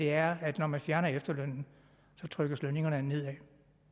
er at når man fjerner efterlønnen trykkes lønningerne nedad